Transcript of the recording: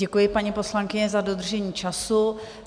Děkuji, paní poslankyně, za dodržení času.